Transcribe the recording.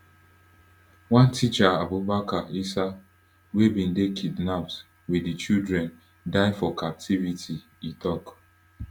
one teacher abubakar issa wey bin dey kidnapped wit di children die for captivity e tok